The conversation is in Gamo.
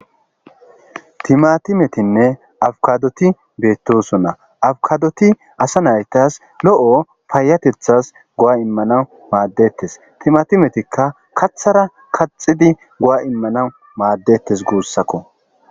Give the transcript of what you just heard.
timatimetinne awkadoti beettosonna awkadoti asa naytas lo7o faayatethas gowa immana maaddettes timatimetikka kathara kaxidi go7a immanau maaddettes guussakko